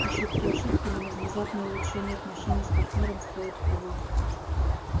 ошибки ошибками но внезапное улучшение отношений с партнёером стоит того